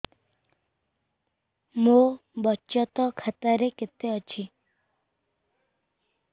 ମୋ ବଚତ ଖାତା ରେ କେତେ ଅଛି